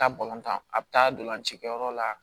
Taa tan a bɛ taa dolanci kɛyɔrɔ la